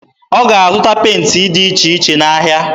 Ọ ga-azụta penti dị iche iche n'ahịa.